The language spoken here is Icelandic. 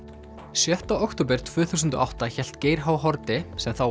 sjötta október tvö þúsund og átta hélt Geir h Haarde sem þá